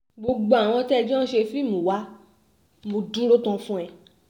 gbogbo àwọn tẹ́ ẹ jọ ń ṣe fíìmù wa mo dúró tán fún ẹ